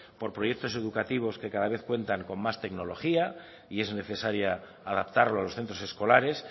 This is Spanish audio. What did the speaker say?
por proyectos educativos que cada vez cuentan con más tecnología y es necesaria adaptarlo a los centros escolares